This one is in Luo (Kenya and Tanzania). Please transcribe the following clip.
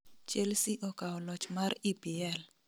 Chelsea okao loch mar EPL